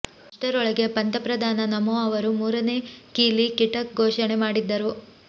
ಅಷ್ಟರೊಳಗೆ ಪಂತ ಪ್ರಧಾನ ನಮೋ ಅವರು ಮೂರನೇ ಕೀಲಿ ಕಿಟಕ್ ಘೋಷಣೆ ಮಾಡಿದ್ದರು